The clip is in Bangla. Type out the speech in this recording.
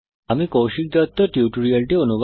আমি কৌশিক দত্ত এই টিউটোরিয়াল টি অনুবাদ করেছি